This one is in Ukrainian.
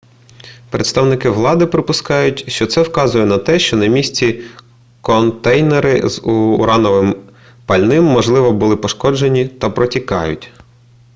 представники влади припускають що це вказує на те що на місці контейнери з урановим пальним можливо були пошкоджені та протікають